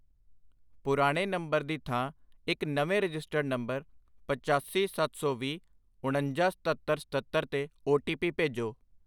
ਪੁਰਾਣੇ ਨੰਬਰ ਦੀ ਥਾਂ ਇੱਕ ਨਵੇਂ ਰਜਿਸਟਰਡ ਨੰਬਰ ਪਚਾਸੀ, ਸੱਤ ਸੌ ਵੀਹ, ਉਣੰਜਾ, ਸਤੱਤਰ, ਸਤੱਤਰ ਤੇ ਓ.ਟੀ.ਪੀ ਭੇਜੋ।